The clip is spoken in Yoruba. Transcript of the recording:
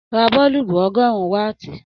Ra boolubu ọgọrùn waati